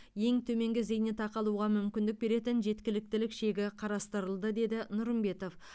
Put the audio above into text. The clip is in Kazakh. ең төменгі зейнетақы алуға мүмкіндік беретін жеткіліктік шегі қарастырылды деді нұрымбетов